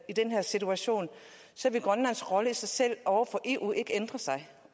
i den her situation vil grønlands rolle i sig selv over for eu ikke ændre sig